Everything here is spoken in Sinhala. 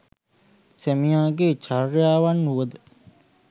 සැමියාගේ චර්යාවන් වුවද